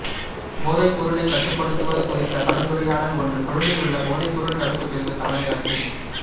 போதைப் பொருளைக் கட்டுப்படுத்துவது குறித்த கலந்துரையாடல் ஒன்று கொழும்பிலுள்ள போதைப்பொருள் தடுப்புப் பிரிவுத் தலைமையகத்தில்